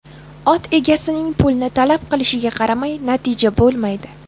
Ot egasining pulni talab qilishiga qaramay natija bo‘lmaydi.